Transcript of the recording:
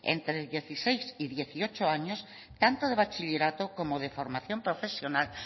entre dieciséis y dieciocho años tanto de bachillerato como de formación profesional